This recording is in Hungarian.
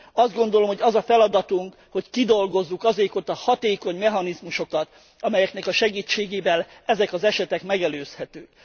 Azt gondolom, hogy az a feladatunk, hogy kidolgozzuk azokat a hatékony mechanizmusokat, amelyeknek a segítségével ezek az esetek megelőzhetőek.